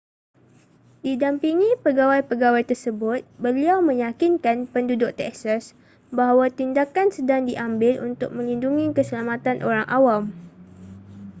didampingi pegawai-pegawai tersebut beliau meyakinkan penduduk texas bahawa tindakan sedang diambil untuk melindungi keselamatan orang awam